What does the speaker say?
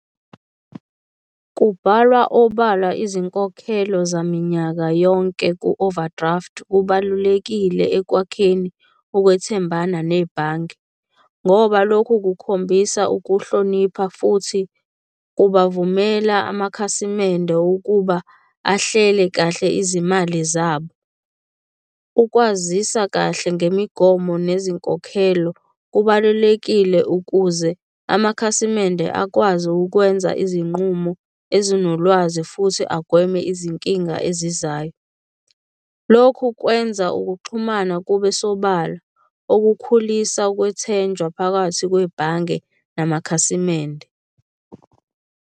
Kubhalwa obala izinkokhelo zaminyaka yonke ku-overdraft kubalulekile ekwakheni ukwethembana nebhange, ngoba lokhu kukhombisa ukuhlonipha futhi kubavumela amakhasimende ukuba ahlele kahle izimali zabo. Ukwazisa kahle ngemigomo nezinkolelo kubalulekile ukuze amakhasimende akwazi ukwenza izinqumo ezinolwazi futhi agweme izinkinga ezizayo. Lokhu kwenza ukuxhumana kube sobala okukhulisa ukwethenjwa phakathi kwebhange namakhasimende.